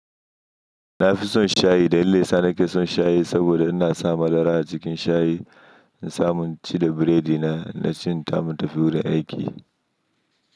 Na fi son shayi dalilin da yasa, nake son shayi saboda ina sa madara a cikin shayi in samun ci da biredi na, na ci insa mun tafi wurin aiki.